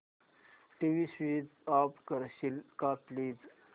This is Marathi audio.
टीव्ही स्वीच ऑफ करशील का प्लीज